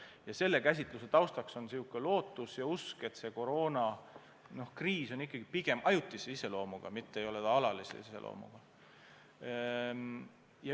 Ja selle taustaks on lootus ja usk, et koroonakriis on ikkagi pigem ajutise iseloomuga, mitte alalise iseloomuga.